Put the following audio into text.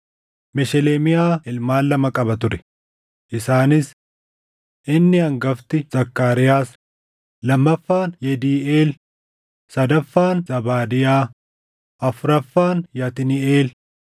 Mesheleemiyaa ilmaan qaba ture; isaanis: Inni hangafti Zakkaariyaas, lammaffaan Yediiʼeel, sadaffaan Zabaadiyaa, Afuraffaan Yatniiʼeel,